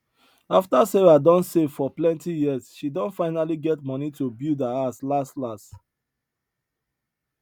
afta sarah don save for plenti years she don finally get money to build her house las las